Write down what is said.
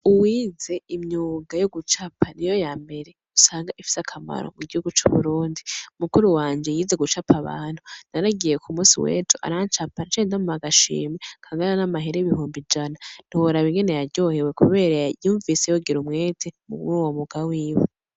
Uwize imyuga yo gucapa n'iyo ya mbere usanga ifise akamaro mu gihugu c'Uburundi. Mukuru wanje yize gucapa abantu; naragiye ku musi wejo arancapa, naciye ndamuha agashimwe kangana n'amahera ibihumbi ijana. Ntiworaba ingene yaryohewe, kubera yumvise yogira umwete muruwo mwuga wiwe.